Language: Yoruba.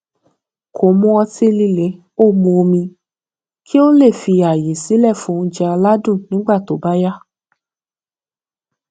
kò mu ọtí líle ó mu omi kí ó lè fi ààyè sílè fún oúnjẹ aládùn nígbà tó bá yá